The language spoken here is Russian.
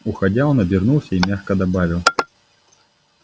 уходя он обернулся и мягко добавил